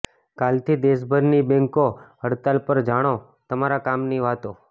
કાલથી દેશભરની બેંકો હડતાલ પર જાણો તમારા કામની વાતો